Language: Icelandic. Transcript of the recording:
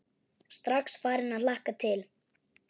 Strax farin að hlakka til.